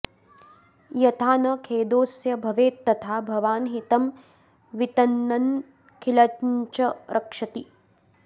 यथा न खेदोऽस्य भवेत्तथा भवान् हितं वितन्नन्नखिलञ्च रक्षति